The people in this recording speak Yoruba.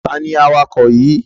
Tani awakọ̀ yìí?